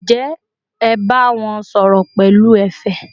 ǹjẹ́ ẹ bá wọn sọ̀rọ̀ pẹ̀lú ẹ̀fẹ̀?